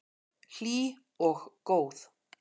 Hlý og góð.